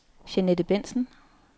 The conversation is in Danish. Jeanette Bentsen